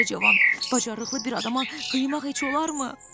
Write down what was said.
Belə cavan bacarıqlı bir adama qıymaq heç olarmı?